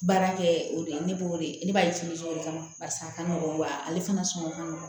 Baara kɛ o de ye ne bo de ye ne b'ale o de kama paseke a ka nɔgɔn wa ale fana sɔngɔ ka nɔgɔn